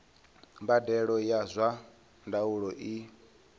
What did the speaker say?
mbadelo ya zwa ndaulo i